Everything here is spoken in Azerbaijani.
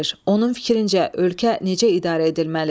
Onun fikrincə, ölkə necə idarə edilməlidir?